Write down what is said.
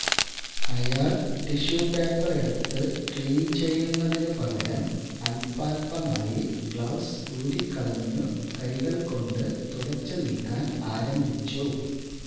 അയാള് tissue paper എടുത്തു clean ചെയ്യുന്നതിനു പകരം അല്പാല്പമായി ഗ്ലൌസ് ഊരിക്കളഞ്ഞു കൈകള് കൊണ്ട് തുടച്ചു നീക്കാന് ആരംഭിച്ചു